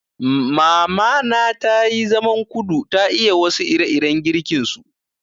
Mamana tayi zaman kudu, ta iya wasu ire-iren girkin su.